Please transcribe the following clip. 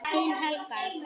Þín Helga.